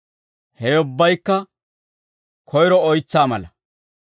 Hewe ubbaykka koyro oytsaa mala.